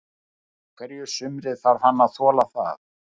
Á hverju sumri þarf hann að þola það.